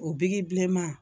O biki bilenman.